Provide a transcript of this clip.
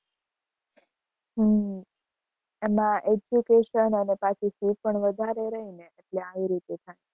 હમ એમાં education અને પાછી fee પણ વધારે રહી ને એટલે આવી રીતે થાય.